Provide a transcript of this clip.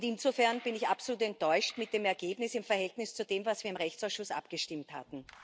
Insofern bin ich absolut enttäuscht von dem Ergebnis im Verhältnis zu dem, was wir im Rechtsausschuss abgestimmt hatten.